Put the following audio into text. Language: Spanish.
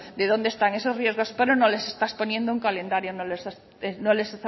de dónde están esos riesgos pero no les estás poniendo un calendario no les